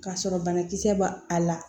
K'a sɔrɔ banakisɛ b'a a la